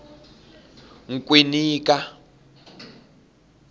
nkwinika